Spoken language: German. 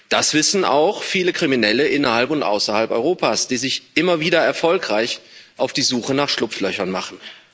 Das wissen auch viele Kriminelle innerhalb und außerhalb Europas, die sich immer wieder erfolgreich auf die Suche nach Schlupflöchern machen.